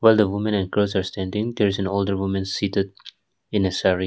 the woman and girls are standing there is an older women seated in a saree.